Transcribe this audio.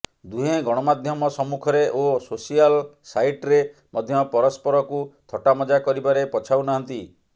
ଦୁହେଁ ଗଣମାଧ୍ୟମ ସମ୍ମୁଖରେ ଓ ସୋସିଆଲ ସାଇଟ୍ରେ ମଧ୍ୟ ପରସ୍ପରକୁ ଥଟ୍ଟାମଜା କରିବାରେ ପଛାଉନାହାନ୍ତି